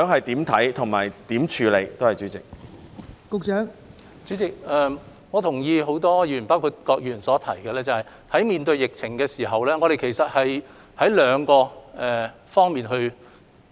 代理主席，我同意很多議員包括郭議員的看法，在面對疫情時主要須處理兩方面事宜。